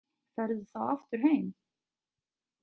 Ferðu þá aftur heim?